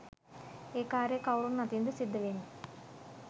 ඒ කාර්ය කවුරුන් අතින් ද සිද්ධ වෙන්නේ?